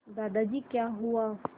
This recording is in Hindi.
दादाजी क्या हुआ